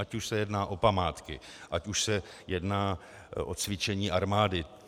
Ať už se jedná o památky, ať už se jedná o cvičení armády.